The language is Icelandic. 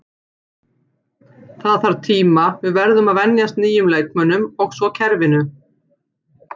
Það þarf tíma, við verðum að venjast nýjum leikmönnum og svo kerfinu.